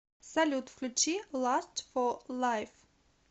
салют включи ласт фо лайф